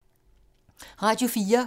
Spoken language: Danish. Radio 4